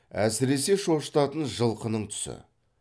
әсіресе шошытатын жылқының түсі